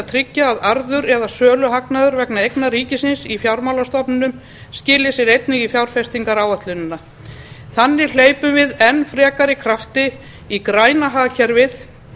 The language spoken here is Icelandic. tryggja að arður eða söluhagnaður vegna eigna ríkisins í fjármálastofnunum skili sér einnig í fjárfestingaráætlunina þannig hleypum við enn frekari krafti í græna hagkerfið